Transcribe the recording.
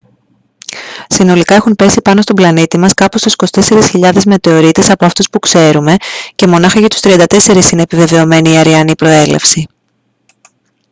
συνολικά έχουν πέσει πάνω στον πλανήτη μας κάπου στους 24.000 μετεωρίτες από αυτούς που ξέρουμε και μονάχα για τους 34 είναι επιβεβαιωμένη η αρειανή προέλευση